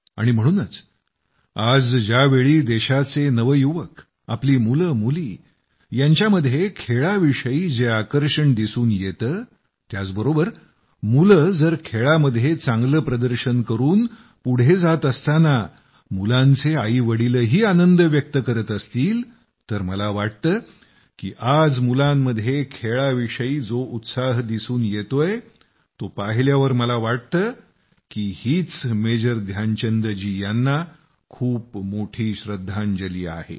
आणि म्हणूनच आज ज्यावेळी देशाचे नवयुवक आपली मुलंमुली यांच्यामध्ये खेळाविषयी जे आकर्षण दिसून येतं त्याचबरोबर मुलं जर खेळामध्ये चांगलं प्रदर्शन करून पुढं जात असताना मुलांचे आईवडीलही आनंद व्यक्त करीत असतील तर मला वाटतं की आज मुलांमध्ये खेळाविषयी जो उत्साह दिसून येतोय तो पाहिल्यावर मला वाटतं की हीच मेजर ध्यानचंद जी यांना खूप मोठी श्रद्धांजली आहे